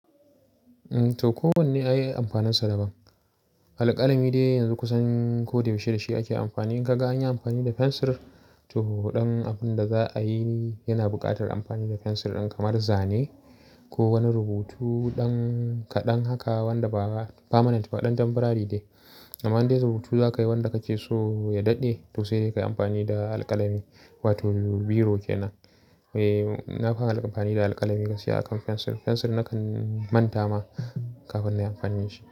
To, kowanne ya yi amfaninsa daban. Alƙalami dai yanzu kusan ko da yaushe da shi ake amfani. In ka ga an yi amfani da fensir, to waɗannan abun da za a yi yana buƙatar amfani da fensir ɗin kamar zane ko wani rubutu kaɗan haka wanda ba permanent ba, kaɗan temporary ne. Amma in dai rubutu za ka yi wanda kake so ya daɗe, to sai dai ka yi amfani da alƙalami wato biro ke nan. Eh, na fi amfani da alƙalami gaskiya akan fensir. Fensir nakan manta ma kafin na yi amfani da shi.